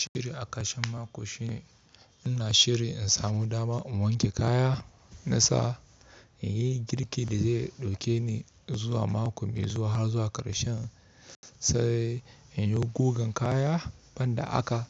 Shiri a ƙarshen mako shine ina shiri in samu dama in wanke kaya na sa in yi girkin da zai ɗauke ni zuwa mako mai zuwa har zuwa ƙarshen. Sai in yi gugan kaya ban da aka,